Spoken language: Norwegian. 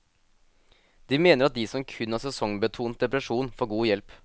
De mener at de som kun har sesongbetont depresjon får god hjelp.